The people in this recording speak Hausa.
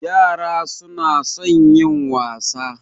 Yara su na son yin wasa